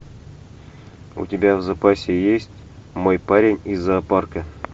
у тебя в запасе есть мой парень из зоопарка